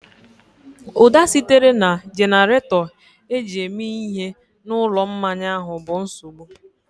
Ụda sitere na jenerato eji eme ihe na ụlọ mmanya ahụ bụ nsogbu